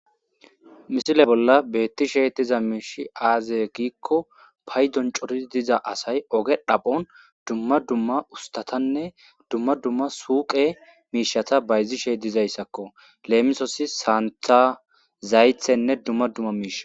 misile bolla beettishe diza miishi aazya giikko paydon cori diza asay oge dhaphon dumma dumma ustatanne dumma dumma suuqe miishata bayzishey dizayssakko leemisosi saanta zaythenne dumma dumma miisha